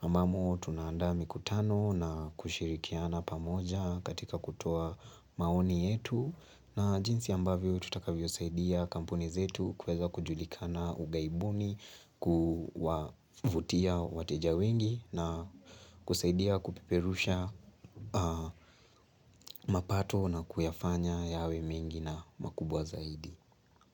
Ambamo tunaandaa mikutano na kushirikiana pamoja katika kutoa maoni yetu na jinsi ambavyo tutakavyosaidia kampuni zetu kuweza kujulikana ughaibuni, kuvutia wateja wengi na kusaidia kupeperusha mapato na kuyafanya yawe mingi na makubwa zaidi.